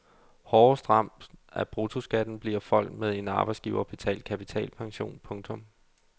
Hårdest ramt af bruttoskatten bliver folk med en arbejdsgiverbetalt kapitalpension. punktum